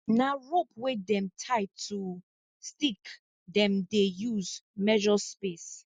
na rope wey dem tie to stick dem use measure space